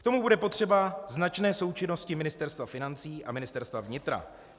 K tomu bude potřeba značné součinnosti Ministerstva financí a Ministerstva vnitra.